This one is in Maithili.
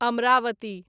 अमरावती